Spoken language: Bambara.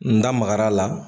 N da magara la